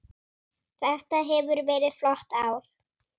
Þetta hefur verið flott ár.